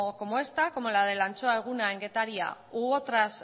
como esta como la del antxoa eguna en getaria u otras